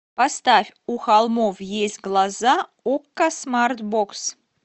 поставь у холмов есть глаза окко смарт бокс